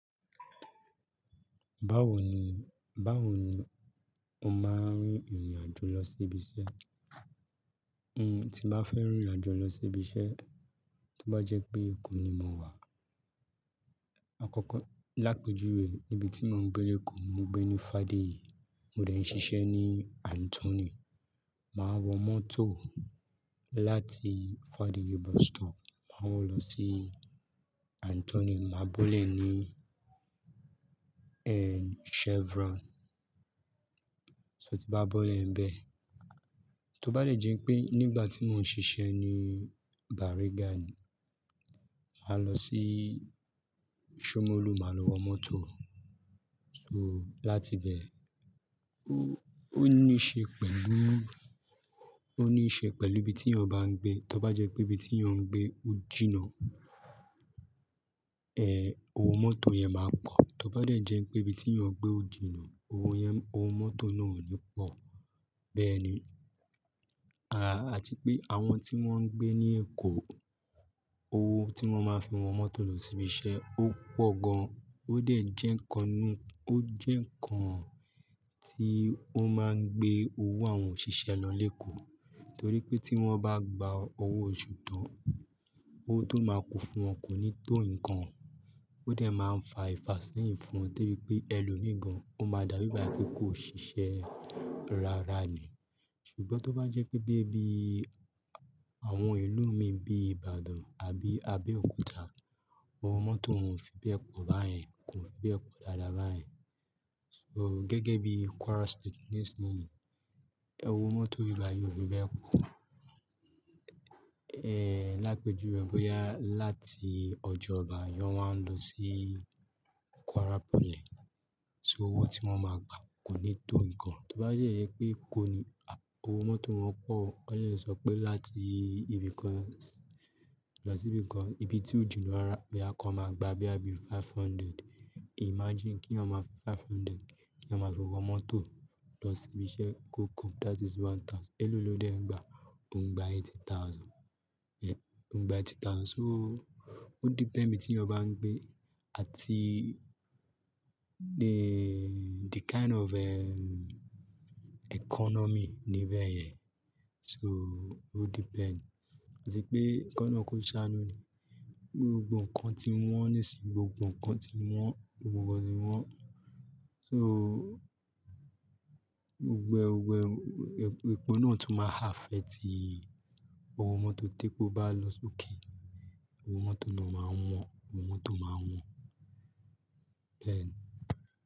Báwo ni, báwo ni o máa ń rin ìrìn àjò lọ sí ibi iṣẹ́? N ti bá fẹ́ rìnrìn àjò lọ sí ibi iṣẹ́, tó bá jẹ́ pé Èkó ni mo wà. Àkọ́kọ́ lápejuwe ibi tí mò ń gbé lékòó, mo gbé ní Fadéyì, mo dé n sì ṣe ní Anthony. Máa wọ mọ́tò láti Fadéyì bus stop, màá wọ lọ sí Anthony, màá bọ́lẹ̀ ní, ẹ, Chevron. So tí bá bọ́lẹ̀ ẹ́ n bẹ́ẹ̀, tó bá dé jẹ́ pé nígbà tí mò ń ṣiṣẹ́ ní Bariga ni, màá lọ sí Shomolu, màá lọ wọ mọ́tò. So láti bẹ́ẹ̀, ó níí ṣe pẹ̀lú, ó níí ṣe pẹ̀lú ibi tí yan bá ń gbé. Tó bá jẹ́ pé ibi tí ọ̀ ń gbé ó jìnnà, ẹ, owó mọ́tò yẹn máa pọ̀. Tó bá dé jẹ́ pé ibi tí yan gbé ò jìnnà, owó yẹn, owó mọ́tò náà ò ní pọ̀. Bẹ́ẹ̀ ni. À, àti pé àwọn tí wọ́n ń gbé ní Èkó, owó tí wọ́n máa fi wọ mọ́tò lọ sí ibi iṣẹ́ ó pọ̀ gan. Ó dàejẹ́ ǹkan ni, ó jẹ́ ǹkan tí ó máa ń gbé owó àwọn òṣìṣẹ́ lọ lékòó. Tor pé tí wọ́n bá gba owó oṣù tán, owó tó máa kún fún wọn kò ní tó ǹkan. Ó dè máa ń fa ìfàséyìn fún wọn torí pé ẹ lọ mi gan, ó máa dà bíi ìgbà pé kò ṣiṣẹ́ rárá ni. Ṣùgbọ́n tó bá jẹ́ pé bí ibi àwọn ìlú mi bíi Ìbàdàn àbí, Àbẹ́òkúta, owó mọ́tò òún fi bẹ́ẹ̀ pọ̀ báyẹn, kò fi bẹ́ẹ̀ pọ̀ dáadáa báyẹn. So gẹ́gẹ́ bí Kwara State nísinyi owó mọ́tò bíbàyí ò fi bẹ́ẹ̀ pọ̀. Ẹ, lápejuwe bóyá láti ọjà ọba èèyàn wá ń lọ sí Kwara poly. So owó tí wọ́n máa gba kò ní tó ǹkan. Tó bá yẹ pé kò ní a-- owó mọ́tò wọn pọ̀, wọ́n lè lọ sọ pé láti ibìkan lọ sí ibìkan, ibi tí ó jìnnà rárá, bí àkọ́ máa gba bí i àbí five hundred. Imagine kí yan máa fi five hundred kí yan máa fi wọ mọ́tò lọ sí ibi iṣẹ́ go come. That is one thousand. Ẹ ló lọdẹ ń gba, ò ń gba eighty thousand. Yẹn, ò ń gba eighty thousand. So ó depend ibi tí yan bá ń gbé àti the, the kind of, ẹ, economy níbẹ̀ yẹn. So ó depend. Àti pé ko Ọlọ́run ko sànú ni gbogbo ǹkan ti wọ́n, nísinyi gbogbo ǹkan ti wọ́n, gbogbo ti wọ́n. So gbogbo, gbogbo epo náà tún máa affect owó mọ́tò tí epó bá lọ sókè. Owó mọ́tò náà máa wọ́n, owó mọ́tò máa wọ́n. Bẹ́ẹ̀ ni.